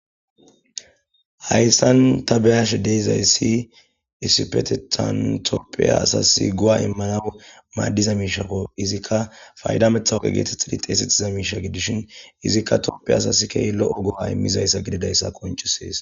Hayssan ta beyash deeizayssi issipetetantoppiya asas go7a immana maaddiza miishako izikka faydametxawqe geeteth idi xeesettiza miisha gidishin izikka toopphia asasi kay lo7o go7a immizayssa gididayssa qoncisees